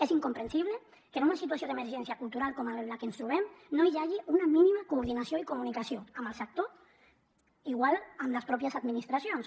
és incomprensible que en una situació d’emergència cultural com en la que ens trobem no hi hagi una mínima coordinació i comunicació amb el sector igual amb les mateixes administracions